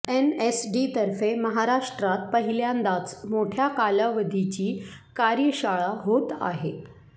एनएसडीतर्फे महाराष्ट्रात पहिल्यांदाच मोठ्या कालावधीची कार्यशाळा होत आहे